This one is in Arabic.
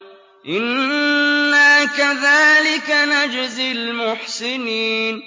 إِنَّا كَذَٰلِكَ نَجْزِي الْمُحْسِنِينَ